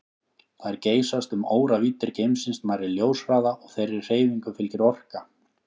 Þær geysast um óravíddir geimsins nærri ljóshraða og þeirri hreyfingu fylgir orka.